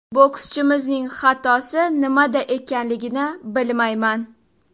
Bokschimizning xatosi nimada ekanligini bilmayman.